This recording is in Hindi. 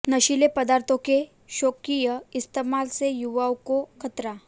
नशीले पदार्थों के शौकिया इस्तेमाल से युवाओं को ख़तरा